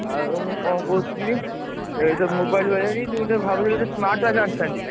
ଆଉ ମୁଁ କଣ କହୁଥିଲି, ଏ ଯୋଉ mobile ଭାବୁଥିଲି ଯେ ଗୋଟେ smart watch ଆଣିଥାନ୍ତି।